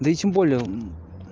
да и тем более